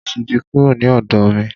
Tóyọ̀sí ti kúrò ni ọ̀dọ̀ mi.